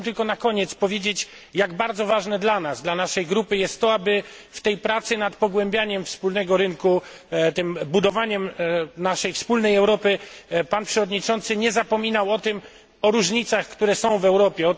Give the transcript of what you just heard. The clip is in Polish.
Chciałbym tylko na koniec powiedzieć jak bardzo ważne dla nas, dla naszej grupy, jest to, aby w tej pracy nad pogłębianiem wspólnego rynku, tym budowaniem naszej wspólnej Europy, Pan przewodniczący nie zapominał o różnicach, które są w Europie.